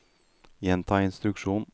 gjenta instruksjon